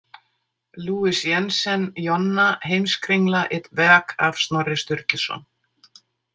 Louis- Jensen, Jonna, „Heimskringla: et værk af Snorri Sturluson“?